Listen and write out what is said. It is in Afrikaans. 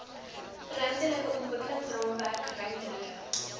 ruimtelike ontwikkelingsraamwerk ruimtelike